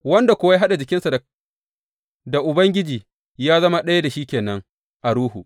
Wanda kuwa ya haɗa jikinsa da Ubangiji ya zama ɗaya da shi ke nan a ruhu.